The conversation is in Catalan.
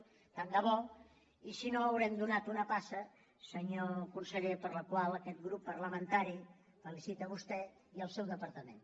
tant de bo i si no haurem donat una passa senyor conseller per la qual aquest grup parlamentari els felicita a vostè i al seu departament